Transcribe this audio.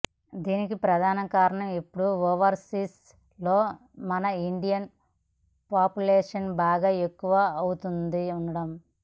దానికి ప్రధాన కారణం ఇప్పుడు ఓవర్సీస్ లో మన ఇండియన్ పాపులేషన్ బాగా ఎక్కువ అవుతుండడం